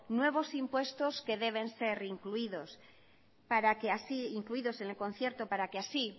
nuevos impuestos que deben ser incluidos en el concierto para que así